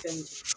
Fɛn